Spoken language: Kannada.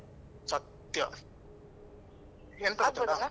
ಸತ್ಯ ಎಂತ ಗೊತ್ತುಂಟಾ?